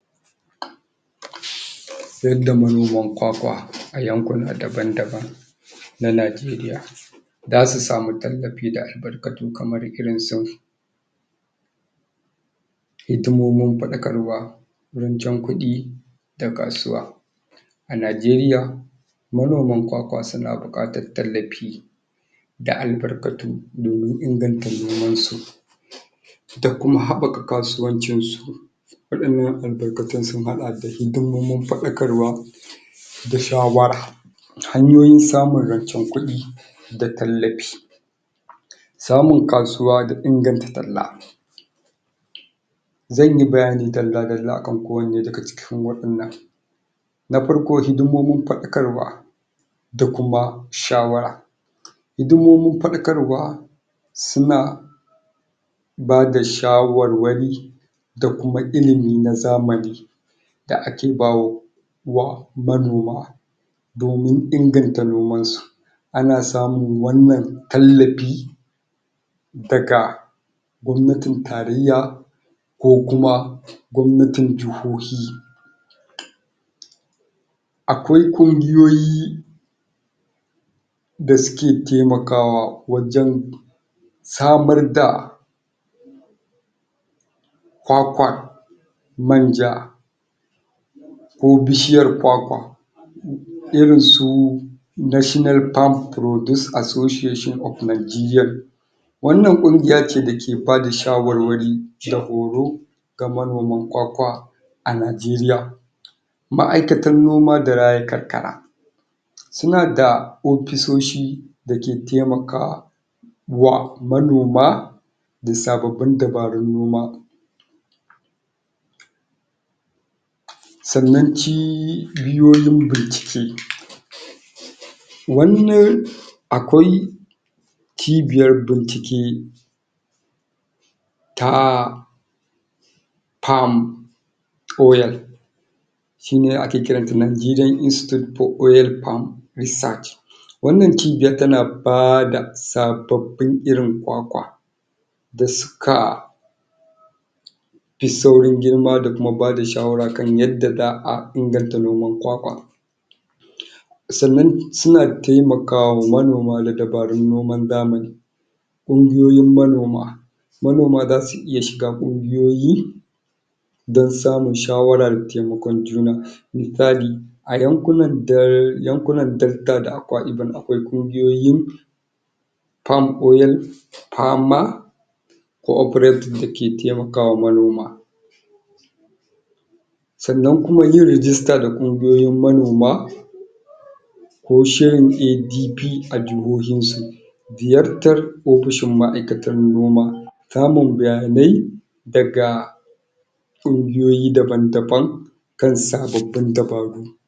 Yadda manioman kwakwa a yankuna daban-daban na Najeriya za su samu tallafi da albarkatu kamar irin su hidimomin fa284 [Orthography] February_hausa_hau_m_445_AG00156_Shamsuakarwa rancen kuɗi da kasuwa a Najeriya manoman kwakwa suna buƙatar tallafi da albarkatu domin inganta nomansu isui ta kuma haɓaka kasuwancinsu waɗannan albarkatun sun haɗa da hidimomin faɗakarwa da shawara hanyoyin samun rancen kuɗi da tallafi samun kasuwa da inganta talla zan yi bayani dalla-dalla akan kowane daga cikin waɗannan na farko hidimomin faɗakarwa da kuma shawara hidimomin faɗakarwa suna bai da shawarwari da kuma ilimi na zamani da ake bayarwa manoma domin inganta nomansu. Ana samun wannan tallafi daga gwamnatin taryya ko kuma gwamnatin jihohi. a kwai ƙungiyoyi da suke taimakawa wajen samar da kwakwa manja ko bishiyar kwakwa irin su National Palm produce Association of Nigeria wannnan ƙungiya ce da ke bada shawarwari da horo ga manoman kwakwa a Najeriya. Ma'aikatan noma da raya karkara, suna da ofisoshi da ke taimaka wa manoma da sababbin dabarun noma. sannan cibiyoyin bincike wannan akwai cibiyan bincike ta Palm oil shi ne ake kira da Nigeria institute for oil palm research wannan cibiya tana ba da sababin irin kwakwa da suka fi saurin girma da kuma ba da shawara kan yadda za a inganta noman kwakwa sannan suna taimakawa manoma da dabarun noman zamani ƙungiyoyin manoma, manoma za su iya shiga ƙungiyoyin don samun shawara da taimakon juna misali a yankunan dau a yankunan FDelta da Akwa Ibom akwai ƙungiyoyi Palm Oil Farmer coperative da ke taimaka wa manoma sannan kuma yin rijista da ƙungiyoyin manoma ko shirin ADP ajuri ziyartar ofishin maaikatan gona, samun bayanai daga ungiyoyi daban-daban kan sababbin dabaru